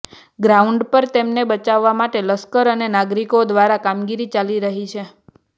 ground પર તેમને બચાવવા માટે લશ્કર અને નાગરિકો દ્વારા કામગીરી ચાલી રહી છે